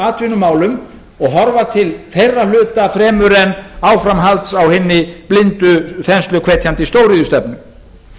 atvinnumálum og horfa til þeirra hluta fremur en áframhalds á hinni blindu þensluhvetjandi stóriðjustefnu